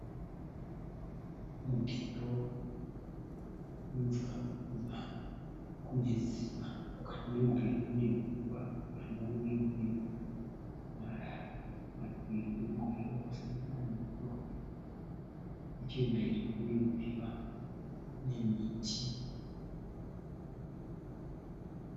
Mugero wemvura urikubva kunedziva . Mukati memugero mune mvura uye marara . Mativi emugero ose ane huswa nechemberi kwedziva kune miti.